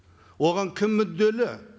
оған кім мүдделі